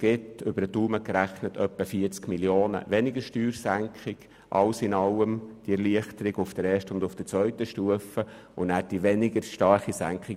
Grob gerechnet ergibt das insgesamt eine um etwa 40 Mio. Franken geringere Steuersenkung.